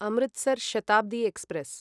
Amritsar Shatabdi express